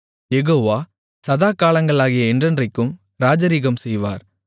யெகோவா சதாகாலங்களாகிய என்றென்றைக்கும் ராஜரிகம்செய்வார்